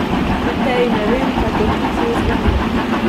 Pri Teji ne vem, kaj točno se je zgodilo.